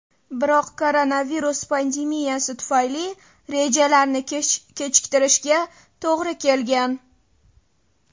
Biroq koronavirus pandemiyasi tufayli rejalarni kechiktirishga to‘g‘ri kelgan.